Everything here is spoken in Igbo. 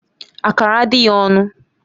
Akara adịghị ọnụ